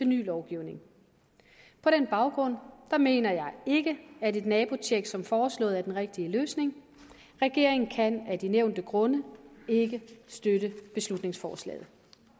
ny lovgivning på den baggrund mener jeg ikke at et nabotjek som foreslået er den rigtige løsning regeringen kan af de nævnte grunde ikke støtte beslutningsforslaget